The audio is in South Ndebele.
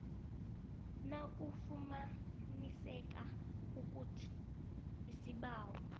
nakufumaniseka ukuthi isibawo